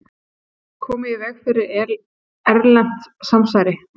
Komið í veg fyrir erlent samsæri